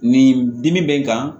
Nin dimi bɛ n kan